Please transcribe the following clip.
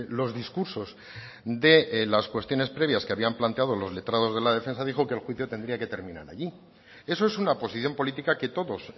los discursos de las cuestiones previas que habían planteado los letrados de la defensa dijo que el juicio tendría que terminar allí eso es una posición política que todos